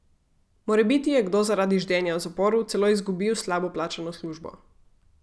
Morebiti je kdo zaradi ždenja v zaporu celo izgubil slabo plačano službo.